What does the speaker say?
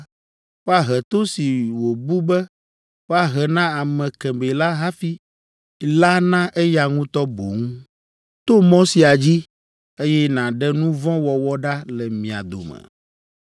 woahe to si wòbu be woahe na ame kemɛ la hafi la na eya ŋutɔ boŋ. To mɔ sia dzi, eye nàɖe nu vɔ̃ wɔwɔ ɖa le mia dome.